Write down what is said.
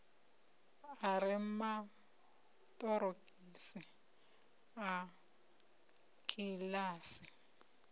a re maṱorokisi a kiḽasi